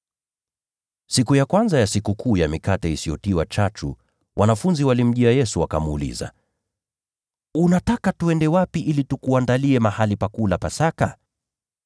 Siku ya kwanza ya Sikukuu ya Mikate Isiyotiwa Chachu, wanafunzi walimjia Yesu wakamuuliza, “Unataka twende wapi ili tukuandalie mahali pa kula Pasaka?”